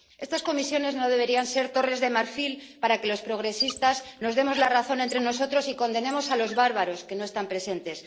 Estas comisiones no deberían ser torres de marfil para que los progresistas nos demos la razón entre nosotros y condenemos a los bárbaros que no están presentes.